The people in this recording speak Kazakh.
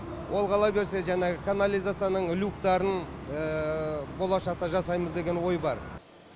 ол қала берсе жаңағы канализацияның люктарын болашақта жасаймыз деген ой бар